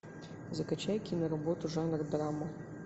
закачай киноработу жанр драма